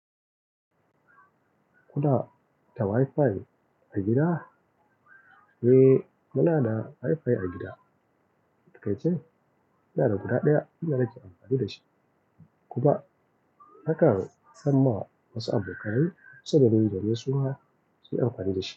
Kuna da Wi-Fi a gida? Eh muna da Wi-Fi a gida. A takaice ina da guda ɗaya shi na ke amfani da shi. Kuma nakan samma wasu abokai saboda dai su suma su yi amfani da shi.